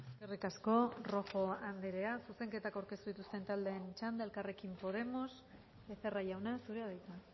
eskerrik asko rojo anderea zuzenketak aurkeztu dituzten taldeen txanda elkarrekin podemos becerra jauna zurea da hitza